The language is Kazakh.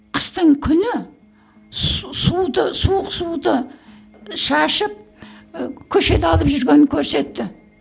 қыстың күні су суды суық суды шашып ы көшеде алып жүргенін көрсетті